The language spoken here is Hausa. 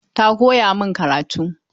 Ta koya min karatu.